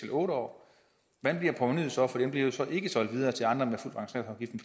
år hvordan bliver provenuet så for den bliver jo så ikke solgt videre til andre med